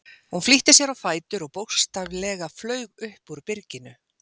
Hún flýtti sér á fætur og bókstaflega flaug upp úr byrginu.